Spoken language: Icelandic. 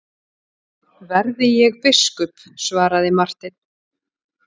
Verði ég biskup, svaraði Marteinn.